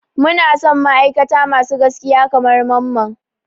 Muna son ma'aikata masu gaskiya kamar Mamman.